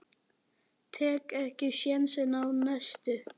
Sannur vinur vina þinna.